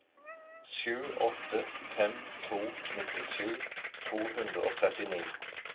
sju åtte fem to nittisju to hundre og trettini